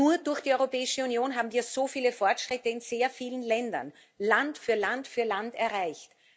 Nur durch die Europäische Union haben wir so viele Fortschritte in sehr vielen Ländern, Land für Land für Land, erreicht.